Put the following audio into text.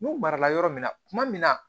N'u marala yɔrɔ min na kuma min na